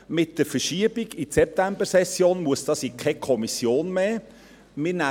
Mit der Verschiebung in die Septembersession muss es in keine Kommission mehr gehen.